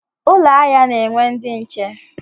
Ụlọ ahịa na-enwe ndị nche.